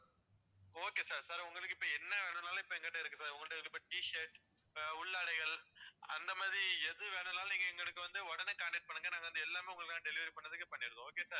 okay sir sir உங்களுக்கு இப்போ என்ன வேணும்னாலும் எங்ககிட்ட இருக்கு sirT shirt உள்ளாடைகள் அந்த மாதிரி எது வேணும்னாலும் எங்களுக்கு வந்து உடனே contact பண்ணுங்க நாங்க எல்லாமே உங்களுக்கு delivery பண்ணிடுதோம் okay sir